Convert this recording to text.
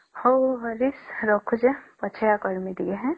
ହଉ ହରିଶ ରଖୁଛେ ହଁ ପଛେ ଏ କରିବ ଟିକେ ହଁ